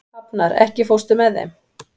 Hafnar, ekki fórstu með þeim?